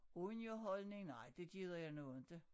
Underholdning nej det gider jeg nu inte